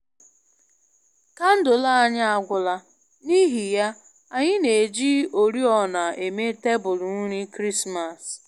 Kandụl anyi agwụla, n’ihi ya, anyị na-eji oriọna eme tebụl nri Krismas